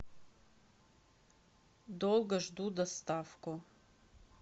долго жду доставку